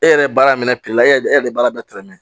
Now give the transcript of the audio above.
E yɛrɛ ye baara min kɛ la e yɛrɛ bɛ baara bɛɛ tɛrɛmɛ